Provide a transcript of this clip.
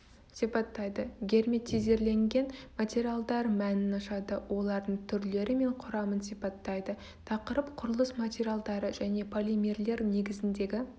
сипаттайды герметизирленген материалдар мәнін ашады олардың түрлері мен құрамын сипаттайды тақырып құрылыс материалдары және полимерлер негізіндегі